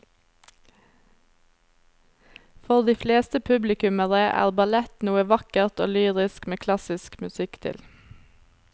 For de fleste publikummere er ballett noe vakkert og lyrisk med klassisk musikk til.